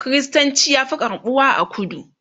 kristanci ya Fi karɓuwa a kudu